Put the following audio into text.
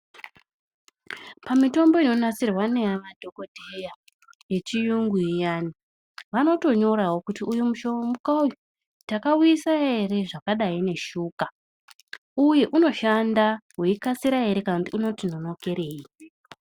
Pamitombo inonasirwa nemadhokodheya yechiyungu iyana vanotonyorawo kuti uyu mushona uyu takauisa ere zvakadai neshuga uye unoshanda weikasira ere kana kuti unoti nonokerei.